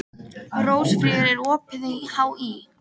Rósfríður, er opið í HÍ?